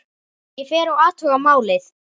Ég fer og athuga málið.